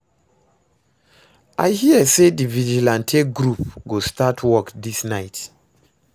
I hear say the vigilante group go start work dis night